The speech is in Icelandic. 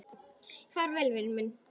Far vel, vinur minn.